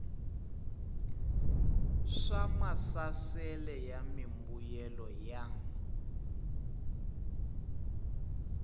swa maasesele ya mimbuyelo ya